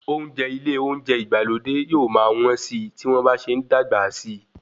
Oúnjẹ ilé oúnjẹ ìgbàlódé yóò máa wọ́n síi tí wọ́n bá ṣe ń dàgbà sí.